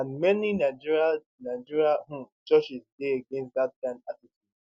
and many nigerian nigerian um churches dey against dat kind attitude